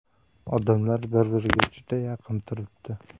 Odamlar bir-biriga juda yaqin turibdi.